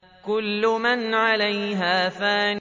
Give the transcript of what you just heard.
كُلُّ مَنْ عَلَيْهَا فَانٍ